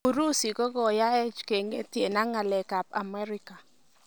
Urusi:Kokoyaech keng'etie ak ngalekab Amerika.